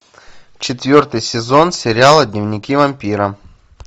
четвертый сезон сериала дневники вампира